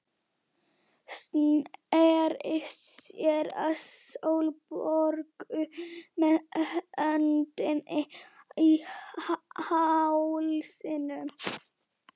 Sneri sér að Sólborgu með öndina í hálsinum.